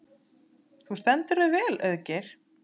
Þú stendur þig vel, Auðgeir!